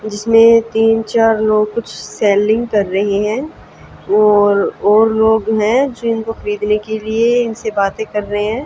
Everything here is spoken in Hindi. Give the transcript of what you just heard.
जिसमें तीन चार लोग कुछ सेलिंग कर रहे हैं और और लोग हैं जो इनको खरीदने के लिए इनसे बातें कर रहे हैं।